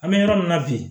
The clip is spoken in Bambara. An bɛ yɔrɔ min na bi